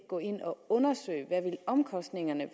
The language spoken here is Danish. gå ind og undersøge hvad omkostningerne